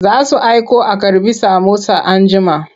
Za su aiko a karɓi samosa anjima.